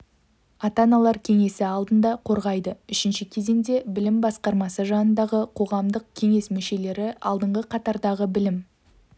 ата-аналар кеңесі алдында қорғайды үшінші кезеңде білім басқармасы жанындағы қоғамдық кеңес мүшелері алдыңғы қатардағы білім